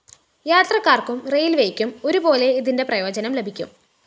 യാത്രക്കാര്‍ക്കും റെയില്‍വേയ്ക്കും ഒരുപോലെ ഇതിന്റെ പ്രയോജനം ലഭിക്കും